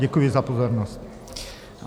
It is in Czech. Děkuji za pozornost.